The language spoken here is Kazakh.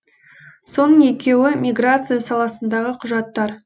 соның екеуі миграция саласындағы құжаттар